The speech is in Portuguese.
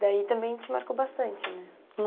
Daí também te marcou bastante, né?